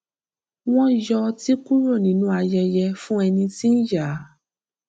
wọn yọ ọtí kúrò nínú ayẹyẹ fún ẹni tí ń yà